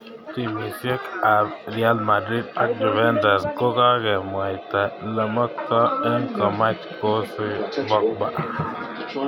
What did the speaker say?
Timisiek ab Real Madrid ak Juventus kokakomwaita lemakto eng komach kosi Pogba.